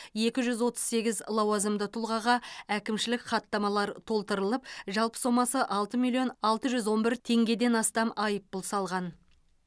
екі жүз отыз сегіз лауазымды тұлғаға әкімшілік хаттамалар толтырылып жалпы сомасы алты миллион алты жүз он бір теңгеден астам айыппұл салған